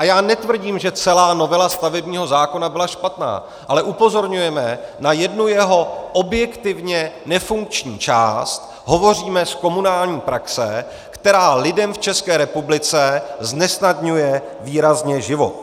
A já netvrdím, že celá novela stavebního zákona byla špatná, ale upozorňujeme na jednu jeho objektivně nefunkční část, hovoříme z komunální praxe, která lidem v České republice znesnadňuje výrazně život.